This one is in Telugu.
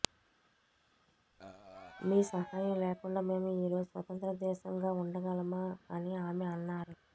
మీ సహాయం లేకుండా మేము ఈ రోజు స్వతంత్ర దేశంగా ఉండగలమా అని ఆమె అన్నారు